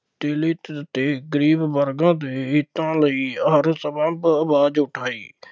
ਦਲਿਤ ਅਤੇ ਗਰੀਬ ਵਰਗਾਂ ਦੇ ਹਿਤਾਂ ਲਈ ਹਰ ਸੰਭਵ ਆਵਾਜ਼ ਉਠਾਈ।